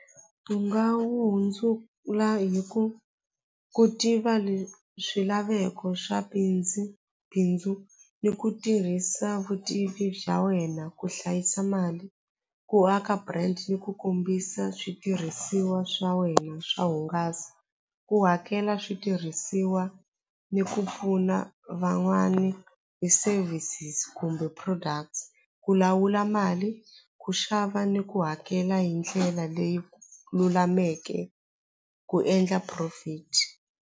U nga wu hundzula hi ku ku tiva swilaveko swa bindzu bindzu ni ku tirhisa vutivi bya wena ku hlayisa mali ku aka brand ni ku kombisa switirhisiwa swa wena swa hungasa ku hakela switirhisiwa ni ku pfuna van'wani ti-services kumbe products ku lawula mali ku xava ni ku hakela hi ndlela leyi lulameke ku endla profit.